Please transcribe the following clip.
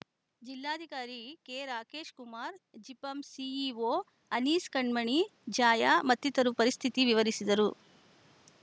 ಜಿಲ್ಲಾಧಿಕಾರಿ ಕೆರಾಕೇಶ್‌ ಕುಮಾರ್‌ ಜಿಪಂ ಸಿಇಒ ಅನೀಸ್‌ ಕಣ್ಮಣಿ ಜಾಯ ಮತ್ತಿತರರು ಪರಿಸ್ಥಿತಿ ವಿವರಿಸಿದರು